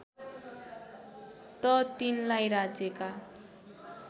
त तिनलाई राज्यका